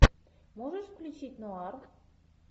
можешь включить ноар